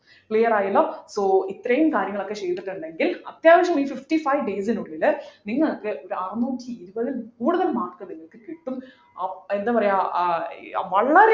clear ആയല്ലോ so ഇത്രയും കാര്യങ്ങളൊക്കെ ചെയ്തിട്ടുണ്ടെങ്കിൽ അത്യാവശ്യം ഈ fifty five days നുള്ളിൽ നിങ്ങൾക്ക് ഒരു അറന്നൂട്ടി ഇരുപതിൽ കൂടുതൽ mark നിങ്ങൾക്ക് കിട്ടും അഹ് എന്താ പറയാം ആഹ് ഏർ വളരെ